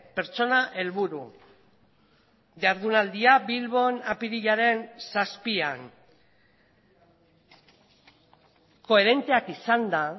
pertsona helburu jardunaldia bilbon apirilaren zazpian koherenteak izanda